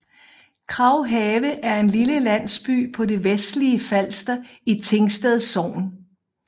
Kraghave er en lille landsby på det vestlige Falster i Tingsted Sogn